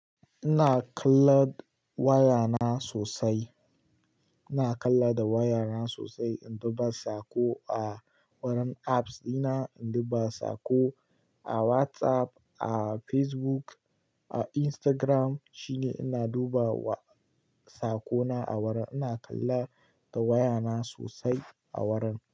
Ina kallan waya na sosai. Ina kalla da waya na sosai, in duba sako a wurin apps dina, in duba sako a WhatsApp, a Facebook, a Instagram shine ina dubawa sakona a waran. Ina kalla da waya na sosai a waran.